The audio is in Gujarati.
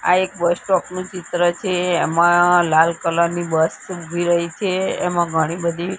આ એક બસ સ્ટોપ નું ચિત્ર છે એમાં લાલ કલર ની બસ ઉભી રહી છે એમાં ઘણી બધી--